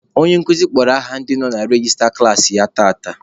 Onye nkuzi kpọrọ aha ndị nọ na rejista klaasị ya tata.